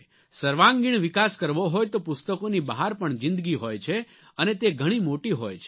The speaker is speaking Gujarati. સર્વાંગીણ વિકાસ કરવો હોય તો પુસ્તકોની બહાર પણ જિંદગી હોય છે અને તે ઘણી મોટી હોય છે